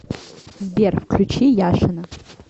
сбер включи яшина